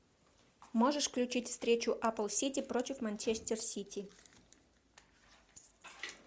можешь включить встречу апл сити против манчестер сити